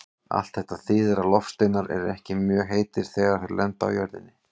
Allt þetta þýðir að loftsteinar eru ekki mjög heitir þegar þeir lenda á jörðinni.